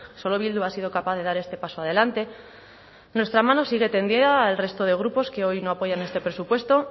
solo bildu ha sido capaz de dar este paso adelante nuestra mano sigue tendida al resto de grupos que hoy no apoyan este presupuesto